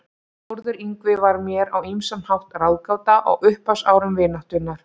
Þórður Yngvi var mér á ýmsan hátt ráðgáta á upphafsárum vináttunnar.